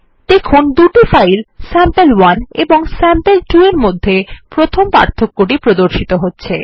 দেখুন দুটি file sample one এবং স্যাম্পল2 এর মধ্যে প্রথম পার্থক্য টি প্রদর্শিত হচ্ছে